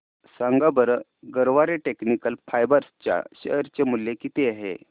सांगा बरं Garware technical fibres च्या शेअर चे मूल्य किती आहे